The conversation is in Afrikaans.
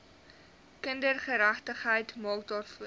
kindergeregtigheid maak daarvoor